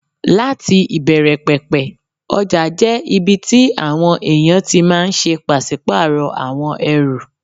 Láti ìbẹ̀rẹ̀ pẹ̀pẹ̀, ọjà jẹ́ ibi tí àwọn èèyàn ti máà ń ṣe pàsípàrọ̀ àwọn ẹrù